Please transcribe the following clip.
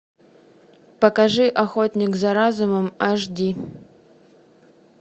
покажи охотник за разумом аш ди